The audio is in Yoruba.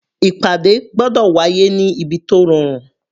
Ìpàdé gbọ́dọ̀ wá yé ní ibi tó rọrùn.